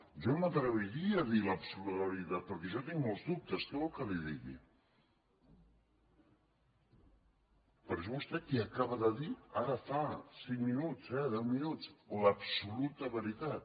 jo no m’atreviria a dir l’absoluta veritat perquè jo tinc molts dubtes què vol que li digui però és vostè qui acaba de dir ara fa cinc minuts eh deu minuts l’absoluta veritat